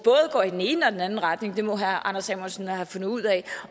går i den ene og den anden retning det må herre anders samuelsen have fundet ud af